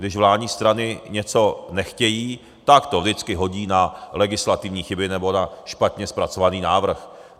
Když vládní strany něco nechtějí, tak to vždycky hodí na legislativní chyby nebo na špatně zpracovaný návrh.